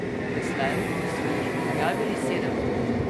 Doslej so jih objavili sedem.